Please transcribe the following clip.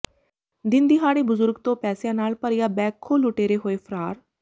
ਦਿਨ ਦਿਹਾੜੇ ਬਜ਼ੁਰਗ ਤੋਂ ਪੈਸਿਆਂ ਨਾਲ ਭਰਿਆ ਬੈਗ ਖੋਹ ਲੁਟੇਰੇ ਹੋਏ ਫਰਾਰ